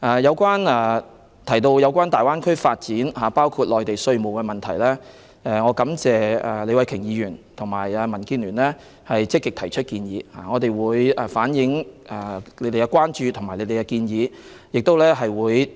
有關大灣區的發展，包括稅務的問題，我感謝李慧琼議員和民建聯積極提出建議，我們會向有關方面反映他們的關注和建議。